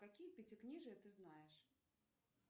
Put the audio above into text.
какие пятикнижия ты знаешь